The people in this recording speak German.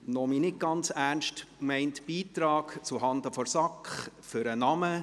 Noch mein nicht ganz ernst gemeinter Beitrag zuhanden der SAK für den Namen: